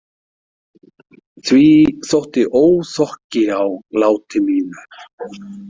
Því þótti óþokki á láti mínu.